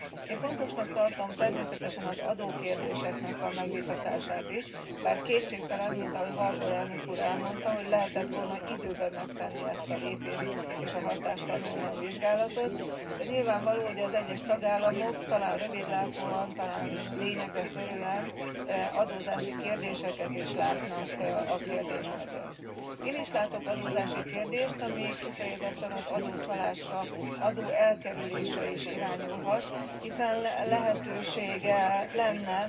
Én fontosnak tartom természetesen az adókérdéseknek a megvitatását is, bár kétségtelen, mint ahogy Harbour elnök úr elmondta, hogy lehetett volna időben megtenni ezt a lépést, és a hatástanulmány vizsgálatot, de nyilvánvaló, hogy az egyes tagállamok talán rövidlátóan, talán lényegre törően adózási kérdéseket is látnak a kérdés mögött. Én is látok adózási kérdést, ami kifejezetten az adócsalásra, adóelkerülésre is irányulhat, hiszen lehetősége lenne